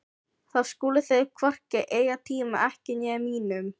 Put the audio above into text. Þá skuluð þið hvorki eyða tíma ykkar né mínum.